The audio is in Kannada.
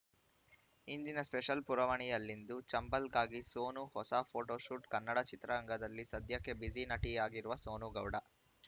ಇಂದಿನ ಸ್ಪೆಷಲ್‌ ಪುರವಣಿಯಲ್ಲಿಂದು ಚಂಬಲ್‌ಗಾಗಿ ಸೋನು ಹೊಸ ಫೋಟೋಶೂಟ್‌ ಕನ್ನಡ ಚಿತ್ರರಂಗದಲ್ಲಿ ಸದ್ಯಕ್ಕೆ ಬ್ಯುಸಿ ನಟಿಯಾಗಿರುವ ಸೋನು ಗೌಡ